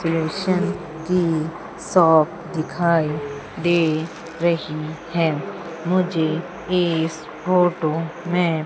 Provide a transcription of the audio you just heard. कृष्ण की शॉप दिखाई दे रही है मुझे इस फोटो में--